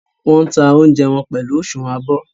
Wọ́n ń ta oúnjẹ wọn pẹ̀lú òsùnwọ́n abọ́.